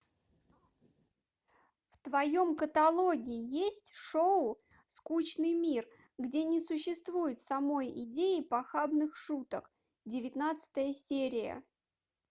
в твоем каталоге есть шоу скучный мир где не существует самой идеи похабных шуток девятнадцатая серия